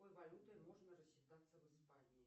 какой валютой можно рассчитаться в испании